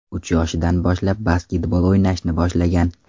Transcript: Uch yoshidan boshlab basketbol o‘ynashni boshlagan.